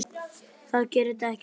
Það gerir dekkin svört.